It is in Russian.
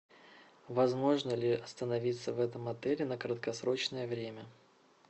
возможно ли остановиться в этом отеле на краткосрочное время